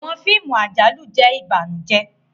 Awọn fíìmù àjálù jẹ ìbànújẹ.